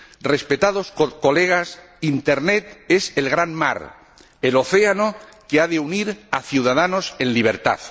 Respetados colegas, Internet es el gran mar, el océano que ha de unir a ciudadanos en libertad.